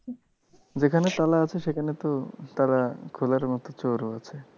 যেখানে তালা আছে, সেখানে তো তালা খোলার মতন চোরও আছে।